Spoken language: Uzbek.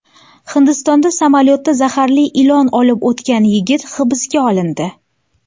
Hindistonda samolyotda zaharli ilon olib o‘tgan yigit hibsga olindi.